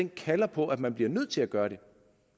kalder på at man bliver nødt til at gøre det